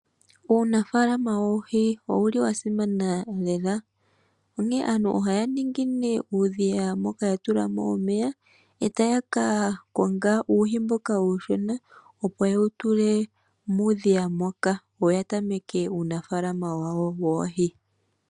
Uunafalama woohi owu li wa simana lela, onkene aantu ohaya ningi nee uudhiya moka ya tula mo omeya e taya ka konga uuhi mboka uushona, opo ye wu tule muudhiya moka, yo ya tameke uunafaalama wawo woohi.